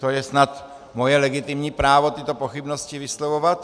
To je snad moje legitimní právo tyto pochybnosti vyslovovat.